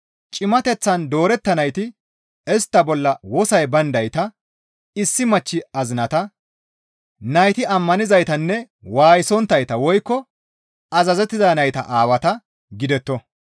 Cimateththan doorettanayti istta bolla wosoy bayndayta, issi machchi azinata, nayti ammanizaytanne waayisonttayta woykko azazettiza nayta aawata gidetto.